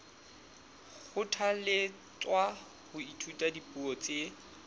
kgothalletswa ho ithuta dipuo tse